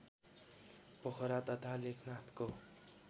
पोखरा तथा लेखनाथको